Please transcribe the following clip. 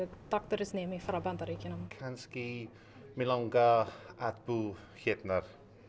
doktorsnemi frá Bandaríkjunum kannski mig langar að búa hérna